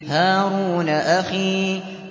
هَارُونَ أَخِي